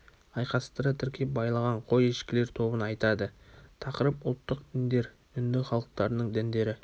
айқастыра тіркеп байлаған қой ешкілер тобын айтады тақырып ұлттық діндер үнді халықтарының діндері